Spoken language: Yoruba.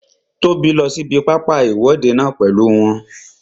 Tóbi lọ sí ibi pápá ìwọ́de náà pèlú wọn